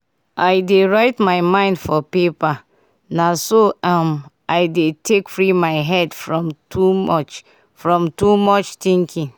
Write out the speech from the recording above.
i dey write my mind for paper—na so um i dey take free my head from too from too much thinking.